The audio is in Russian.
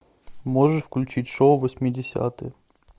можешь включить шоу восьмидесятые